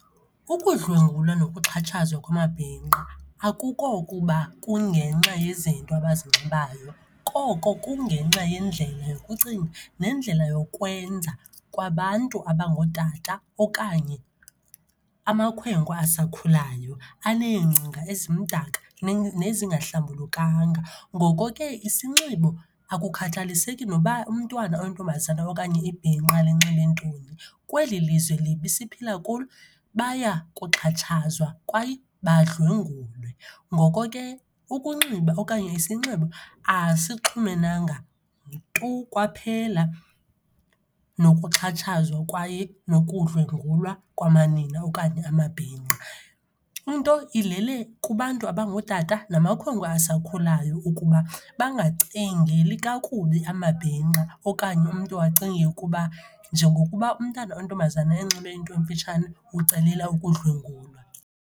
Ukudlwengulwa nokuxhatshazwa kwamabhinqa akukokuba kungenxa yezinto abazinxibayo, koko kungenxa yendlela yokucinga neendlela yokwenza kwabantu abangootata okanye amakhwenkwe asakhulayo aneengcinga ezimdaka nezingahlambulukanga. Ngoko ke isinxibo akukhathaliseki noba umntwana oyintombazana okanye ibhinqa linxibe ntoni, kweli lizwe libi siphila kulo, bayakuxhatshazwa kwaye badlwengulwe. Ngoko ke ukunxiba okanye isinxibo asixhumenanga tu kwaphela nokuxhatshazwa kwaye nokudlwengulwa kwamanina okanye amabhinqa. Into ilele kubantu abangootata namakhwenkwe asakhulayo ukuba bangacingeli kakubi amabhinqa okanye umntu acinge ukuba njengokuba umntana oyintombazana enxibe into emfitshane, ucelela ukudlwengulwa.